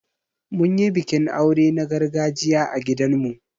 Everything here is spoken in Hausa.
Mun yi bikin aure na gargajiya a gidan mu.